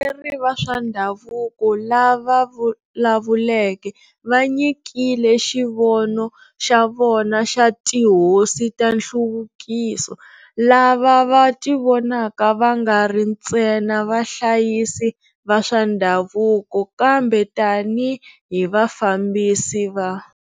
Varhangeri va swa ndhavuko lava vulavuleke va nyikile xivono xa vona xa 'tihosi ta nhluvukiso', lava va tivonaka va nga ri nstena va hlayisi va swa ndhavuko kambe tanihi vafambisi va.